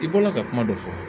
I bɔla ka kuma dɔ fɔ